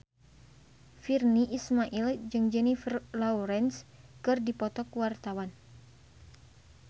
Virnie Ismail jeung Jennifer Lawrence keur dipoto ku wartawan